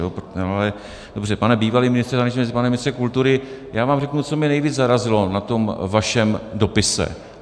Ale dobře, pane bývalý ministře zahraničních věcí, pane ministře kultury, já vám řeknu, co mě nejvíc zarazilo na tom vašem dopise.